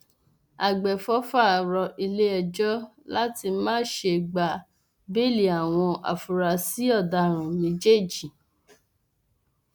àgbẹfọfà rọ iléẹjọ láti má ṣe gba béèlì àwọn afurasí ọdaràn méjèèjì